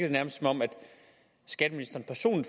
det nærmest som om skatteministeren